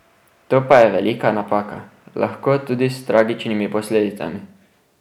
To pa je velika napaka, lahko tudi s tragičnimi posledicami.